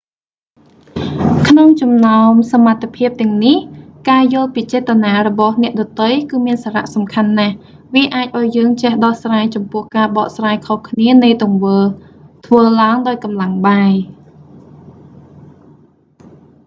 ក្នុងចំណោមសមត្ថភាពទាំងនេះ ការយល់ពីចេតនារបស់អ្នកដទៃគឺមានសារៈសំខាន់ណាស់ វាអាចឱ្យយើងចេះដោះស្រាយចំពោះការបកស្រាយខុសគ្នានៃទង្វើរធ្វើឡើងដោយកម្លាំងបាយ